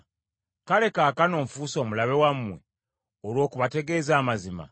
Kale kaakano nfuuse omulabe wammwe olw’okubategeeza amazima?